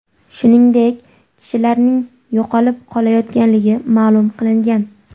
Shuningdek, kishilarning yo‘qolib qolayotganligi ma’lum qilingan.